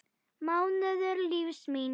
mánuður lífs míns.